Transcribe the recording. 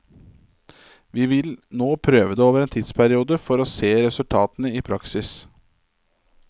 Vi vil nå prøve det over en tidsperiode for å se resultatene i praksis.